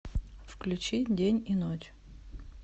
включи день и ночь